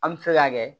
An bɛ se ka kɛ